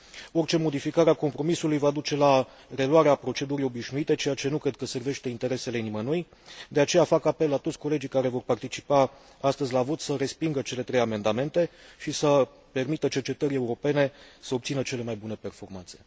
Orice modificare a compromisului va duce la reluarea procedurii obișnuite, ceea ce nu cred că servește interesele nimănui De aceea, fac apel la toți colegii care vor participa astăzi la vot să respingă cele trei amendamente și să permită cercetării europene să obțină cele mai bune performanțe.